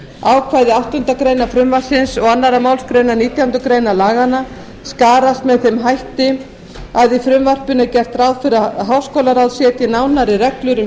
ákvæði áttundu greinar frumvarpsins og annarri málsgrein nítjánda grein laganna skarast með þeim hætti að í frumvarpinu er gert ráð fyrir að háskólaráð setji nánari reglur um